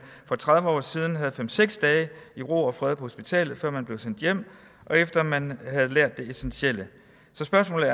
for tredive år siden havde fem seks dage i ro og fred på hospitalet før man blev sendt hjem og efter at man havde lært det essentielle så spørgsmålet